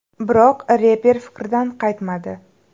Biroq reper fikridan qaytmadi.